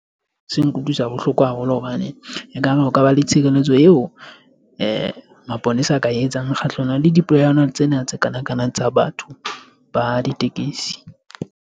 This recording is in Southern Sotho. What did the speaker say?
Se nkutlwisa bohloko haholo hobane ekare ho ka ba le tshireletso eo maponesa a ka etsang kgahlanong le dipolayano tsena tsa kana kana, tsa batho ba ditekesi.